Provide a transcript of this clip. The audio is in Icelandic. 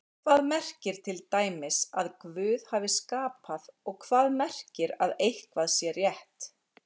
Hvað merkir til dæmis að Guð hafi skapað og hvað merkir að eitthvað sé rétt?